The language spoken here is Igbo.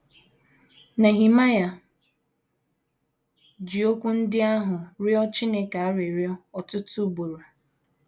Nehemaịa ji okwu ndị ahụ rịọ Chineke arịrịọ ọtụtụ ugboro.